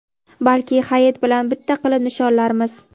Balki Hayit bilan bitta qilib nishonlarmiz.